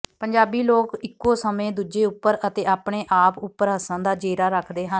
ਪੰਜਾਬੀ ਲੋਕ ਇੱਕੋਂ ਸਮੇਂ ਦੂਜੇ ਉਪਰ ਅਤੇ ਆਪਣੇ ਆਪ ਉਪਰ ਹੱਸਣ ਦਾ ਜੇਰਾ ਰੱਖਦੇ ਹਨ